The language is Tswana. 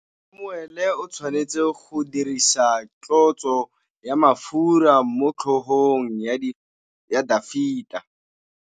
Samuele o tshwanetse go dirisa tlotsô ya mafura motlhôgong ya Dafita.